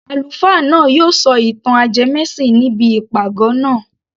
Àlùfáà náà yóò sọ ìtàn ajẹmẹ́sìn ní ibi ìpàgọ́ naa